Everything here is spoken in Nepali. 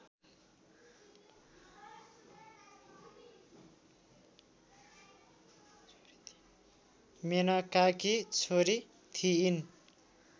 मेनकाकी छोरी थिइन्